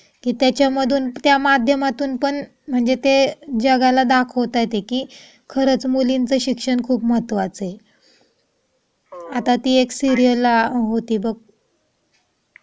त्याच्यामधून त्या माध्यमातून पण त्या जगाला दाखवत आहे. खरंच मुलींचे शिक्षण खूप महत्त्वाचा आहे. आता ती एक सिरीयल होती बघ,